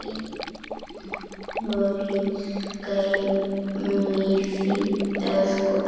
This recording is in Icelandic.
Guð geymi þig, elsku Ásta.